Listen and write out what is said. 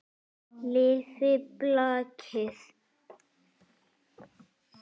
Lifi blakið!